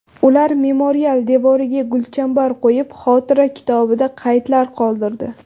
Ular memorial devoriga gulchambar qo‘yib, xotira kitobida qaydlar qoldirdi.